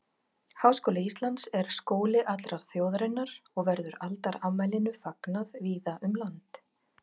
Háskóli Íslands er skóli allrar þjóðarinnar og verður aldarafmælinu fagnað víða um land.